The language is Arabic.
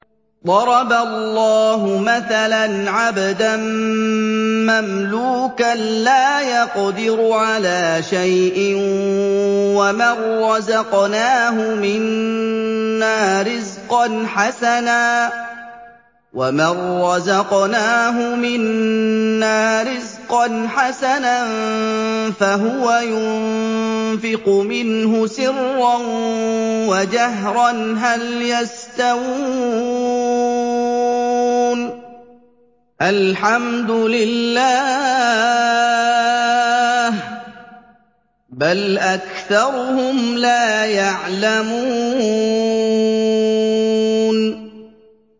۞ ضَرَبَ اللَّهُ مَثَلًا عَبْدًا مَّمْلُوكًا لَّا يَقْدِرُ عَلَىٰ شَيْءٍ وَمَن رَّزَقْنَاهُ مِنَّا رِزْقًا حَسَنًا فَهُوَ يُنفِقُ مِنْهُ سِرًّا وَجَهْرًا ۖ هَلْ يَسْتَوُونَ ۚ الْحَمْدُ لِلَّهِ ۚ بَلْ أَكْثَرُهُمْ لَا يَعْلَمُونَ